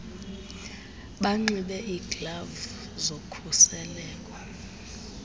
banxibe iiglavu zokhuseleko